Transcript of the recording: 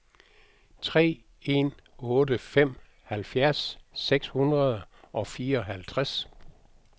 tre en otte fem halvfjerds seks hundrede og fireoghalvtreds